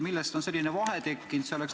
Millest on selline vahe tekkinud?